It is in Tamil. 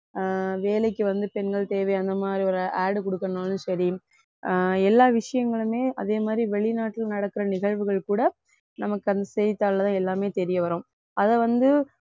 அஹ் வேலைக்கு வந்து பெண்கள் தேவை அந்த மாதிரி ஒரு ad கொடுக்கணும்னாலும் சரி அஹ் எல்லா விஷயங்களுமே அதே மாதிரி வெளிநாட்டுல நடக்குற நிகழ்வுகள் கூட நமக்கு அந்த செய்திதாள்ல தான் எல்லாமே தெரிய வரும் அதை வந்து